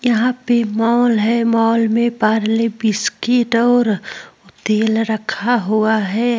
यहाँ पे मॉल है। मॉल में पारले बिस्कुट और ओ तेल रखा हुआ है।